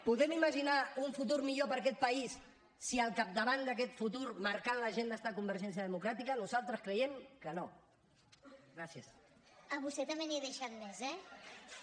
podem imaginar un futur millor per a aquest país si al capdavant d’aquest futur marcant l’agenda està convergència democràtica nosaltres creiem que no